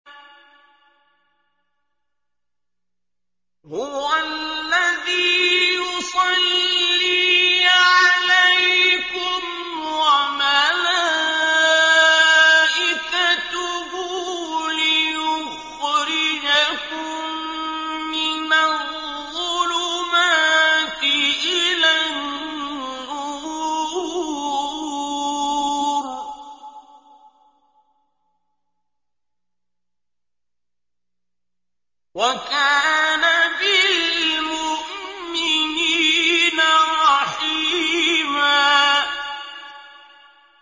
هُوَ الَّذِي يُصَلِّي عَلَيْكُمْ وَمَلَائِكَتُهُ لِيُخْرِجَكُم مِّنَ الظُّلُمَاتِ إِلَى النُّورِ ۚ وَكَانَ بِالْمُؤْمِنِينَ رَحِيمًا